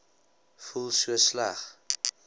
voel so sleg